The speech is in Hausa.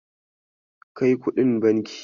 Kai kuɗin banki.